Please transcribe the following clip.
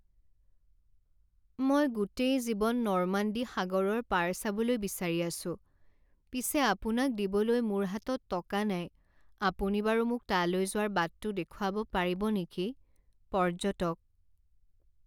মই গোটেই জীৱন নৰ্মাণ্ডী সাগৰৰ পাৰ চাবলৈ বিচাৰি আছো পিছে আপোনাক দিবলৈ মোৰ হাতত টকা নাই আপুনি বাৰু মোক তালৈ যোৱাৰ বাটটো দেখুৱাব পাৰিব নেকি? পৰ্যটক